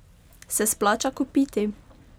Se splača kupiti?